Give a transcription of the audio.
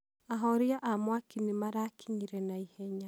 ahoria a mwaki nĩ marakinyire na ihenya.